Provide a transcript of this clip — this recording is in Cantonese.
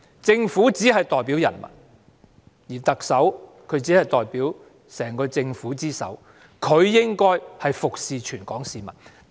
政府只代表人民，而特首只是整個政府之首，她應為全港市民服務。